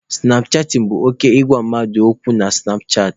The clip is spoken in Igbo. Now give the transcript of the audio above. Sụnap chatịn bụ oke ịgwa mmadụ okwu na sụnap chaatị.